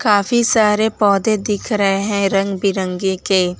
काफी सारे पौधे दिख रहे हैं रंग बिरंगे के।